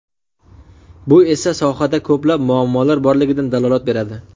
Bu esa sohada ko‘plab muammolar borligidan dalolat beradi.